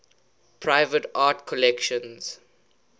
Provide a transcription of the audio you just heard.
private art collections